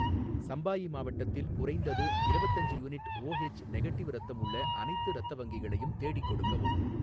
சம்பாயி மாவட்டத்தில் குறைந்தது இரவத்தஞ்சு யூனிட் ஓஹெச் நெகடிவ் இரத்தம் உள்ள அனைத்து இரத்த வங்கிகளையும் தேடிக் கொடுக்கவும்